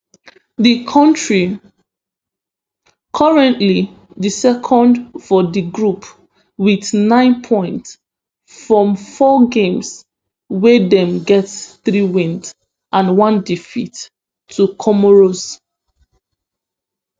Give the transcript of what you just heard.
di kontri currently dey second for di group wit nine points from four games wey dem get three wins and one defeat to comoros